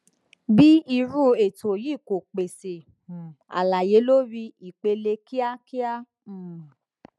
b irú ètò yìí kò pèsè um àlàyé lórí ipele kíákíá um